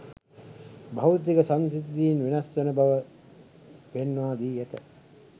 භෞතික සංසිද්ධීන් වෙනස් වන බව පෙන්වා දී ඇත